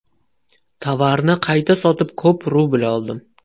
Tovarni qayta sotib, ko‘p rubl oldim.